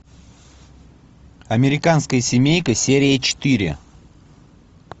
американская семейка серия четыре